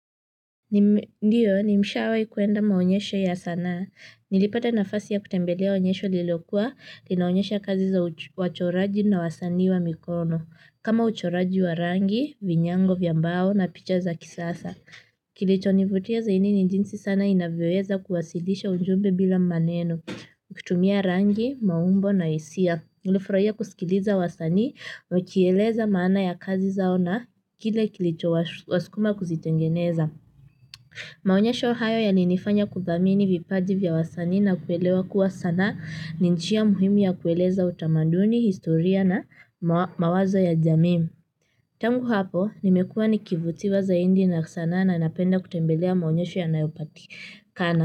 Ndiyo nimshawahi kuenda maonyesho ya sanaa, nilipata nafasi ya kutembelea onyesho lilokuwa, linaonyesha kazi za wachoraji na wasani wa mikono, kama uchoraji wa rangi, vinyango vya mbao na picha za kisasa. Kilichonivutia zaidi ni jinsi sanaa inavyoweza kuwasilisha ujumbe bila maneno, kutumia rangi, maumbo na hisia, nilifurahia kusikiliza wasanii, wakieleza maana ya kazi zao na kile kilichowaskuma kuzitengeneza. Maonyesho hayo yalinifanya kuthamini vipaji vya wasanii na kuelewa kuwa sanaa ni njia muhimu ya kueleza utamaduni, historia na mawazo ya jamii. Tangu hapo, nimekuwa nikivutiwa zaidi na sanaa na napenda kutembelea maonyesho yanayopatikana.